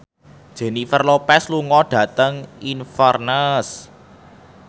Jennifer Lopez lunga dhateng Inverness